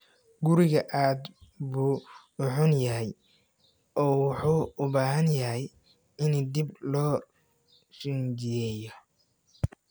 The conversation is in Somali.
Guriga aad buu u xun yahay oo wuxuu u baahan yahay in dib loo rinjiyeeyo.